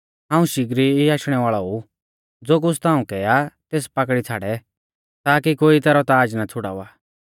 हाऊं शिगरी ई आशणै वाल़ौ ऊ ज़ो कुछ़ ताऊं कै आ तेस पाकड़ी छ़ाड़ै ताकि कोई तैरौ ताज़ ना छ़ुड़ावा